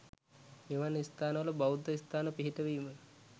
මෙවන් ස්ථනවල බෞද්ධ ස්ථාන පිහිටවීම